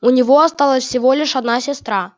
у него осталась всего лишь одна сестра